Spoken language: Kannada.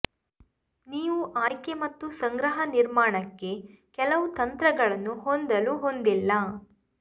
ನೀವು ಆಯ್ಕೆ ಮತ್ತು ಸಂಗ್ರಹ ನಿರ್ಮಾಣಕ್ಕೆ ಕೆಲವು ತಂತ್ರಗಳನ್ನು ಹೊಂದಲು ಹೊಂದಿಲ್ಲ